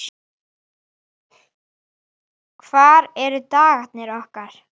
Þetta tvennt munum við gera.